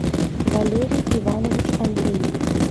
валерий иванович андреев